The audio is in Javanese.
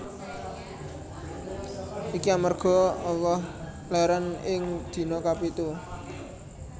Iki amarga Allah lèrèn ing dina kapitu